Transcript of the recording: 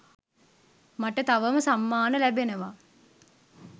මට තවම සම්මාන ලැබෙනවා